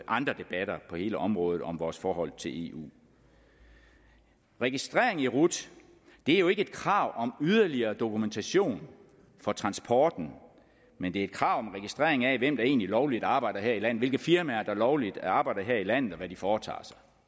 andre debatter på hele området om vores forhold til eu registrering i rut er jo ikke et krav om yderligere dokumentation for transporten men det er et krav om registrering af hvem der egentlig lovligt arbejder her i landet hvilke firmaer der lovligt arbejder her i landet og hvad de foretager